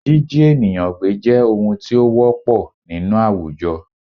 Jíjí ènìyàn gbé jẹ́ ohun tí ó ti wọ́pọl nínú àwùjọ